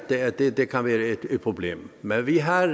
at det det kan være et problem men vi har